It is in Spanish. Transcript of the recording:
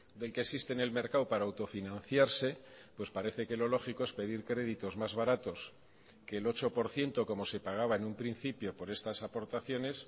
del que existe en el mercado para autofinanciarse pues parece que lo lógico es pedir créditos más baratos que el ocho por ciento como se pagaba en un principio por estas aportaciones